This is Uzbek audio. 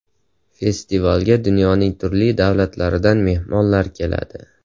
Festivalga dunyoning turli davlatlaridan mehmonlar keladi.